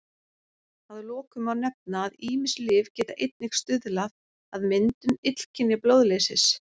Að lokum má nefna að ýmis lyf geta einnig stuðlað að myndun illkynja blóðleysis.